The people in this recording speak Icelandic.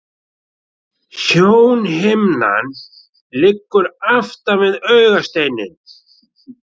Sjónhimnan liggur aftan við augasteininn.